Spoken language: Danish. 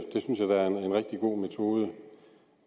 rigtig god metode